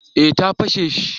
Eh ta fashe shi